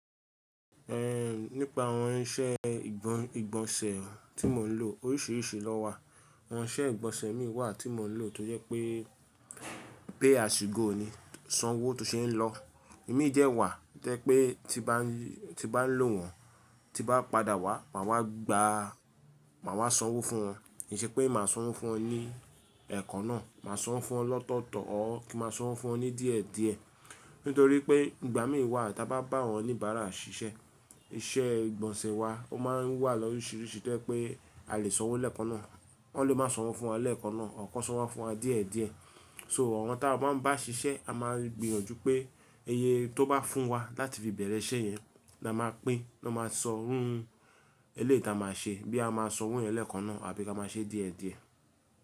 Ẹhn, nípa àwọn iṣẹ́ ìgbọ̀n-ìgbọ̀nsẹ̀ tí mò ń lò oríṣìíríṣìí lọ wà. Àwọn isẹ́ ìgbọ̀nsẹ̀ mi wà tí mò ń lò tó yẹ pé, pay as you go ni, sanwó tó ṣe ń lọ. Imí dẹ́ wà to ẹ́ pé tí bá ń lò wọ́n, tí bá padà wá, màá wá gba, màá wá sanwó fún wọn. Kì í ṣe pé màá sanwó fún wọn ní ẹ̀ẹ̀kan náà, màá sanwó fún wọn lọ́tọ̀ọ̀tọ̀ ọ́, kí màá sanwó fún wọn ní díẹ̀ẹ́díẹ̀ẹ́. Nítorí pé ìgbà mìí wà tí a bá bá àwọn oníbàárà ṣiṣẹ́, iṣẹ́ ìgbọ̀nsẹ̀ wa ó máa ń wà lóríṣiríṣi tó jẹ́ pé a lè sanwó lẹ́ẹ̀kan náà. Wọ́n lè máa sanwó fún wa lẹ́ẹ̀kan náà, àwọn kan sanwó fún wa díẹ̀ẹ́díẹ̀ẹ́. So àwọn tí a bá ń bá ṣiṣẹ́, a máa gbìyànjú pé iye tó bá fún wa láti fi bẹ̀rẹ̀ isẹ́ yẹn la máa pín, lọ́ máa sọ iru eleyi ta máa ṣe. Bí ya amáa sanwó yẹn lẹ́ẹ̀kan náà àbí ká máa ṣe díẹ̀ẹ́díẹ̀ẹ́.